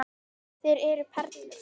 Þeir eru perlur.